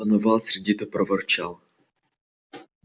донован сердито проворчал